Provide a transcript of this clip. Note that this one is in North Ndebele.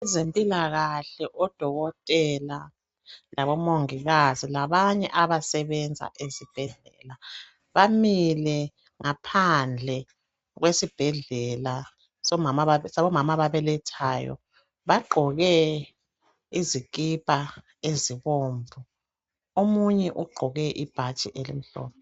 abezempilakahle odokotela labo mongikazi labanye abasebenza esibhedlela bamile ngaphandle kwesibhedlela sabo mama ababelethayo bagqoke izikipa ezibomvu omunye ugqoke ibhatshi elimhlophe